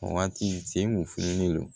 O waati sen kun filen don